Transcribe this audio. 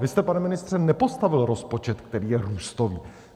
Vy jste, pane ministře, nepostavil rozpočet, který je růstový.